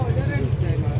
deyirlər indi.